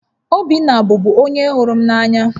Obinna bụbu onye hụrụ m n'anya